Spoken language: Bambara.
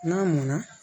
N'a mɔnna